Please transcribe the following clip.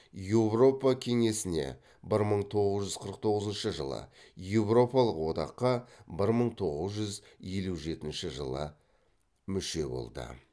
еуропа кеңесіне еуропалық одаққа мүше болды